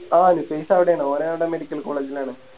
ആ നുഫൈസ് അവിടെണ് ഓന് അവിടെ Medical college ൽ ആണ്